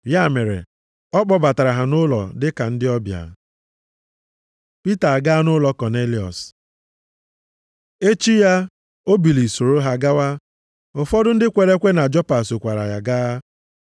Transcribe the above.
Ya mere, ọ kpọbatara ha nʼụlọ dịka ndị ọbịa. Pita agaa nʼụlọ Kọnelịọs Echi ya, o biliri soro ha gawa, ụfọdụ ndị kwere ekwe na Jopa sokwara ya gaa.